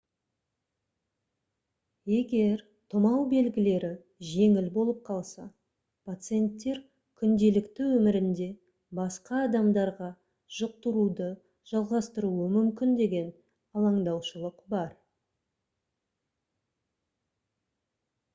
егер тұмау белгілері жеңіл болып қалса пациенттер күнделікті өмірінде басқа адамдарға жұқтыруды жалғастыруы мүмкін деген алаңдаушылық бар